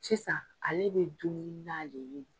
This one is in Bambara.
Sisan ale bɛ dun ni na de ye.